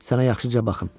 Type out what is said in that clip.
Sənə yaxşıca baxın.